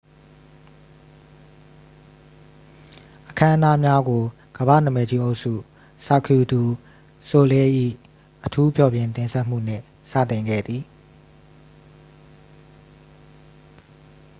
အခမ်းအနားများကို ကမ္ဘာ့နာမည်ကြီးအုပ်စု cirque du soleil ၏ အထူးဖျော်ဖြေတင်ဆက်မှုနှင့် စတင်ခဲ့သည်